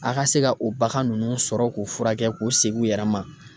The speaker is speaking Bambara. A ka se ka o bagan nunnu sɔrɔ k'u furakɛ k'u segin u yɛrɛ ma.